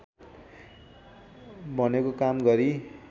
भनेको काम गरी